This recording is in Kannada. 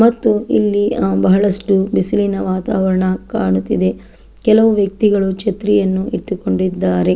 ಮತ್ತು ಇಲ್ಲಿ ಅಹ್ ಬಹಳಷ್ಟು ಬಿಸಿಲಿನ ವಾತಾವರಣ ಕಾಣುತಿದೆ ಕೆಲವು ವ್ಯಕ್ತಿಗಳು ಛತ್ರಿಯನ್ನು ಇಟ್ಟಿಕೊಂಡಿದ್ದಾರೆ.